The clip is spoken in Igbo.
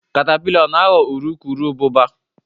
caterpillar ọ na-aghọ urukurubụba?